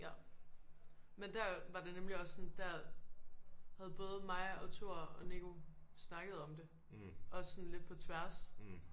Ja men der var det nemlig også sådan der havde både mig og Thor og Nico snakket om det også sådan lidt på tværs